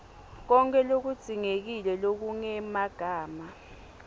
konkhe lokudzingekile lokungemagama